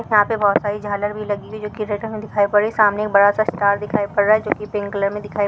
यहाँ पे बहुत सारे झाडे भी लगी हुई है जो कि रेड कलर दिखाई पड रही सामने एक बड़ासा स्टार दिखाई पद रहा है जो पिंक कलर मे दिखाई--